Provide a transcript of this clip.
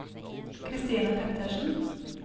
Christine Pettersen